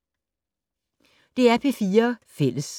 DR P4 Fælles